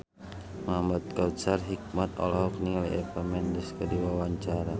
Muhamad Kautsar Hikmat olohok ningali Eva Mendes keur diwawancara